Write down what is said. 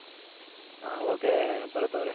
ಹ okay ಭರತ್ ಅವ್ರೆ